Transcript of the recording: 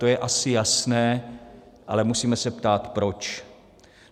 To je asi jasné, ale musíme se ptát proč.